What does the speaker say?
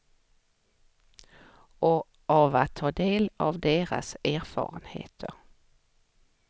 Och av att ta del av deras erfarenheter.